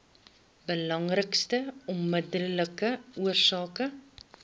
belangrikste onmiddellike oorsake